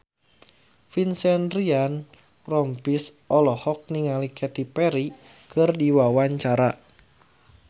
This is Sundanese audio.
Vincent Ryan Rompies olohok ningali Katy Perry keur diwawancara